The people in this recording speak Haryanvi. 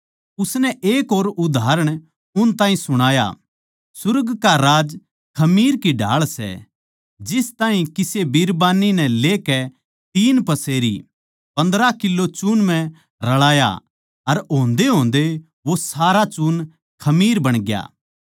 उसनै एक और उदाहरण उन ताहीं सुणाया सुर्ग का राज खमीर की ढाळ सै जिस ताहीं किसे बिरबान्नी नै लेकै तीन पसेरी पन्द्रह किलो चून म्ह रळाया अर होंदेहोंदे वो सारा चून खमीर बणग्या